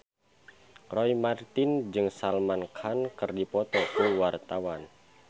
Roy Marten jeung Salman Khan keur dipoto ku wartawan